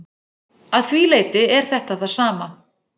Að því leyti er þetta það sama.